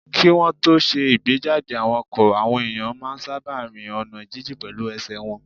Kí wọ́n tó ṣe ìgbéjáde àwọn ọkọ̀, àwọn èèyàn máa n sáábà rin ọ̀nà jínjìn pẹ̀lú ẹsẹ̀ wọn